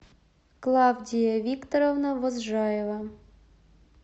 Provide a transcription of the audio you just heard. клавдия викторовна возжаева